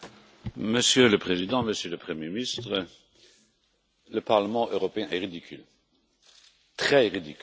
Monsieur le Président, Monsieur le Premier ministre, le Parlement européen est ridicule, très ridicule.